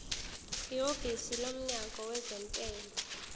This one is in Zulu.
ihhovisi lomnyango wezentela